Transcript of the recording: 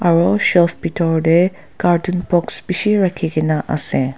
aro shelf bitor de carton box bishi rakhi gina ase.